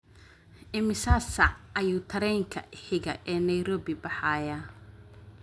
imisa saac ayuu tareenka xiga ee nairobi baxaya?